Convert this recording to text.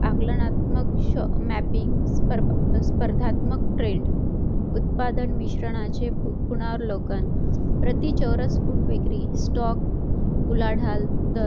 आकलनात्मक mapping स्पर्धात्मक trend उत्पादक मिश्रानाचे पुनर्वलोकन प्रति फूट विक्री stock उलाढाल दर